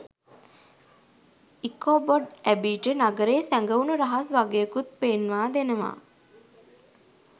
Ichabod ඇබිට නගරයේ සැගවුන රහස් වගයකුත් පෙන්වා දෙනවා